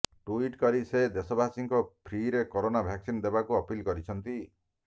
tweet କରି ସେ ଦେଶବାସୀଙ୍କ ଫ୍ରିରେ କରୋନା ଭ୍ୟାକସିନ ଦେବାକୁ ଅପିଲ କରିଛନ୍ତି